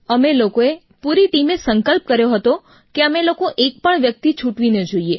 અમે લોકોઓ પૂરી ટીમે સંકલ્પ કર્યો હતો કે અમે લોકો એક પણ વ્યક્તિ છૂટવી ન જોઈએ